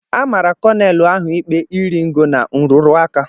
A mara kọlọnel ahụ ikpe iri ngo na nrụrụ aka.